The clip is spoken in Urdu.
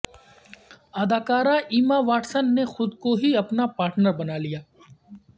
اداکارہ ایما واٹسن نے خود کو ہی اپنا پارٹنر بنالیا